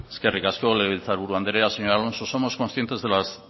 eskerrik asko legebiltzar buru andrea señor alonso somos conscientes de las